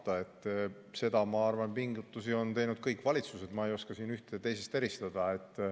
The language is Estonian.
Ma arvan, et sellekohaseid pingutusi on teinud kõik valitsused, ma ei oska siin ühte teisest eristada.